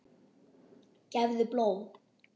Gefðu blóð.